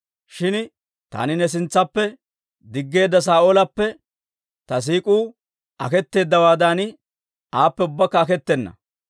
Shin taani ne sintsaappe diggeedda Saa'oolappe ta siik'uu aketeeddawaadan, aappe ubbakka aketena.